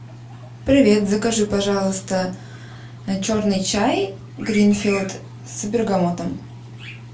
привет закажи пожалуйста черный чай гринфилд с бергамотом